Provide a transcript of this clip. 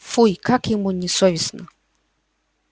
фуй как ему не софестно